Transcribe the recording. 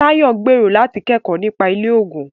Tayo gbèrò láti kẹ́kọ̀ọ́ nípa ilé-oògùn.